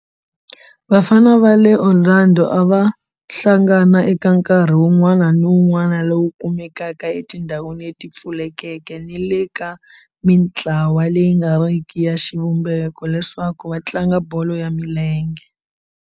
Vafana va le Orlando a va hlangana eka nkarhi wun'wana ni wun'wana lowu kumekaka etindhawini leti pfulekeke ni le ka mintlawa leyi nga ri ki ya xivumbeko leswaku va tlanga bolo ya milenge.